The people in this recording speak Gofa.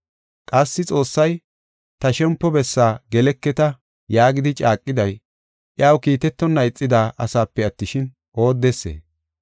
Qassi Xoossay, “Ta shempo bessaa geleketa” yaagidi caaqiday, iyaw kiitetonna ixida asaape attishin, oodesee?